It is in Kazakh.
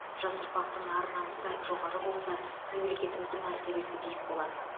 жас ұрпақтың ар намысы жоғары болса мемлекетіміздің мәртебесі биік болады